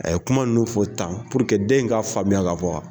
A ye kuma nunnu fɔ tan den in ka faamuya ka fɔ